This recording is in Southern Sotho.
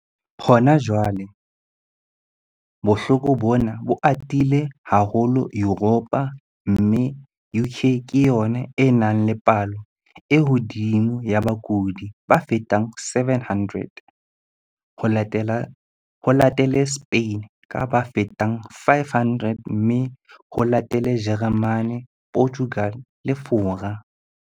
Hona jwale bohloko bona bo atile haholo Yuropa mme UK ke yona e nang le palo e hodimo ya bakudi ba fetang 700, ho latele Spain ka ba fetang 500 mme ho latele Jeremane, Portugal le Fora.